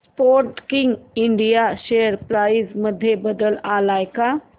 Sportking India share price मध्ये बदल आलाय का